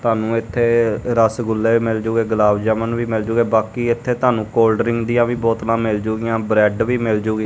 ਤੁਹਾਨੂੰ ਇੱਥੇ ਰਸਗੁੱਲੇ ਮਿਲ ਜੁਗੇ ਗੁਲਾਬ ਜਾਮਨ ਵੀ ਮਿਲ ਜੁਗੇ ਬਾਕੀ ਇਥੇ ਤੁਹਾਨੂੰ ਕੋਲਡ ਡਰਿੰਕ ਦੀਆਂ ਵੀ ਬੋਤਲਾਂ ਮਿਲ ਜਾਣਗੀਆਂ ਬਰੈਡ ਵੀ ਮਿਲ ਜੂਗੀ।